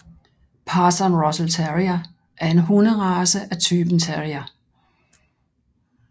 Parson Russell Terrier er en hunderace af typen terrier